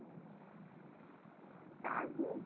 চার দিন?